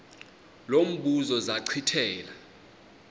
lo mbuzo zachithela